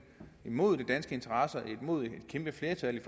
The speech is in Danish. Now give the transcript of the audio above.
imod de danske interesser imod et kæmpe flertal i